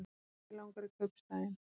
Mig langar í kaupstaðinn.